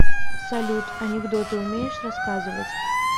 салют анекдоты умеешь рассказывать